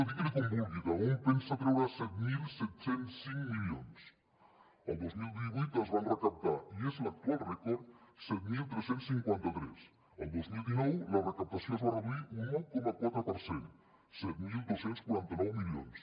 digui n’hi com vulgui d’on pensa treure set mil set cents i cinc milions el dos mil divuit se’n van recaptar i és l’actual rècord set mil tres cents i cinquanta tres el dos mil dinou la recaptació es va reduir un un coma quatre per cent set mil dos cents i quaranta nou milions